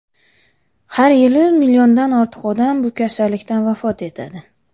Har yili milliondan ortiq odam bu kasallikdan vafot etadi.